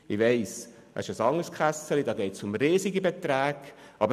Mir ist bewusst, dass es sich dabei um einen anderen Topf handelt.